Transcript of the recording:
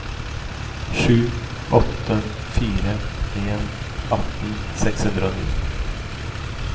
sju åtte fire en atten seks hundre og ni